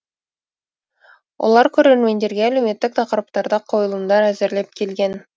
олар көрермендерге әлеуметтік тақырыптарда қойылымдар әзірлеп келген